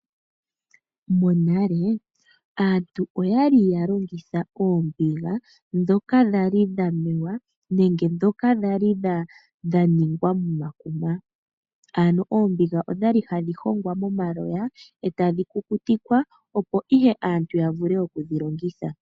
Monale aantu oyali ya longitha oombiga, dhoka dhali dha mewa nenge dhoka dhali dha ningwa momakuma. Ano oombiga odhali hadhi hongwa momaloya e tadhi kukutikwa, opo ihe aantu ya vule okudhi longitha.